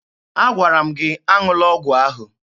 Agwara m gị aṅụla ọgwụ ahụ!